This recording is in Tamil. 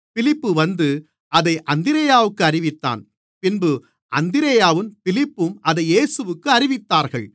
பிலிப்பு வந்து அதை அந்திரேயாவிற்கு அறிவித்தான் பின்பு அந்திரேயாவும் பிலிப்புவும் அதை இயேசுவிற்கு அறிவித்தார்கள்